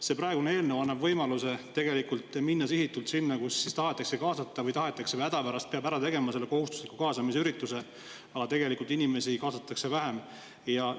See praegune eelnõu annab võimaluse minna tegelikult sihitult sinna, et küll tahetakse kaasata või, et hädapärast peab selle kohustusliku kaasamisürituse ära tegema, aga inimesi kaasatakse tegelikult vähem.